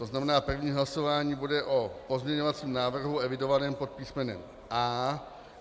To znamená, první hlasování bude o pozměňovacím návrhu evidovaném pod písmenem A.